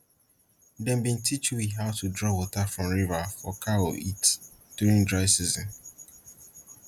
dem bin teach we how to draw water from river for cow eat during dry season